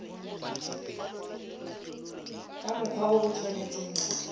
ka mokgwa o o tshwanetseng